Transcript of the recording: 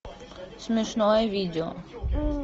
смешное видео